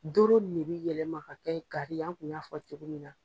Doro ni de bɛ yɛlɛma ka kɛ Gari ye an kun y'a fɔ cogo min na.